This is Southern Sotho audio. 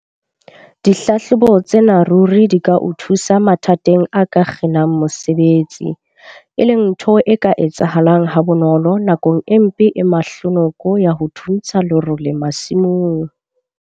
Dihlahlobo tsena ruri di ka o thusa mathateng a ka kginang mosebetsi, e leng ntho e ka etsahalang ha bonolo nakong e mpe e mahlonoko ya ho thuntsha lerole masimong.